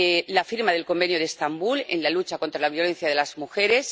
la firma del Convenio de Estambul, en la lucha contra la violencia de las mujeres